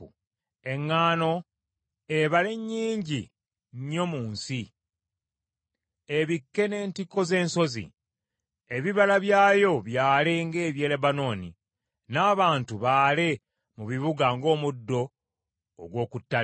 Eŋŋaano ebale nnyingi nnyo mu nsi, ebikke n’entikko z’ensozi. Ebibala byayo byale ng’eby’e Lebanooni; n’abantu baale mu bibuga ng’omuddo ogw’oku ttale.